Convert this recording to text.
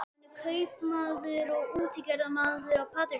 Hann er kaupmaður og útgerðarmaður á Patreksfirði.